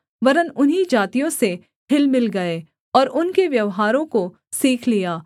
वरन् उन्हीं जातियों से हिलमिल गए और उनके व्यवहारों को सीख लिया